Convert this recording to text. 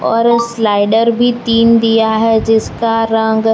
और उस स्लाइडर भी तीन दिया है जिसका रंग--